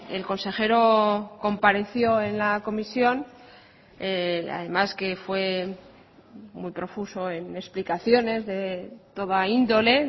el consejero compareció en la comisión además que fue muy profuso en explicaciones de toda índole